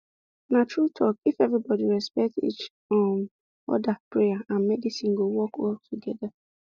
na true talkif everybody respect each um other prayer and medicine go work well together